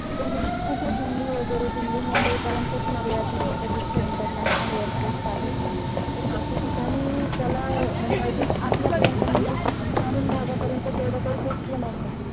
कस दिल्ली वगैरे दिल्ली मुंबई पर्यंतच मर्यादित होत जिथे international airports आहेत. अशा ठिकाणी त्याला म्हणजे अजून आपल्या पर्यंत म्हणजे ग्रामीण भागा पर्यंत तेवढं काही ते हे नव्हतं.